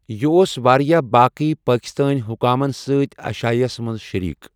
یہِ اوس واریٛاہ باقٕی پاکستٲنی حکامَن سۭتۍ عشائیَس منٛز شٔریٖک۔